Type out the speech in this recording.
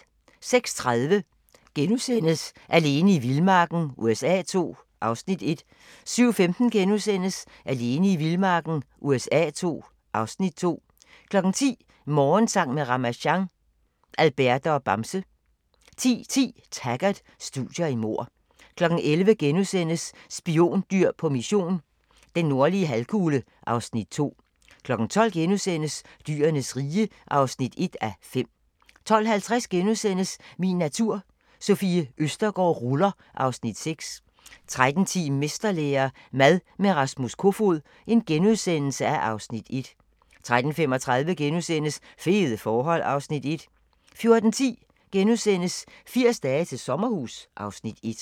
06:30: Alene i vildmarken USA II (Afs. 1)* 07:15: Alene i vildmarken USA II (Afs. 2)* 10:00: Morgensang med Ramasjang | Alberte og Bamse 10:10: Taggart: Studier i mord 11:00: Spiondyr på mission – den nordlige halvkugle (Afs. 2)* 12:00: Dyrenes rige (1:5)* 12:50: Min natur - Sofie Østergaard ruller (Afs. 6)* 13:10: Mesterlære - mad med Rasmus Kofoed (Afs. 1)* 13:35: Fede forhold (Afs. 1)* 14:10: 80 dage til sommerhus (Afs. 1)*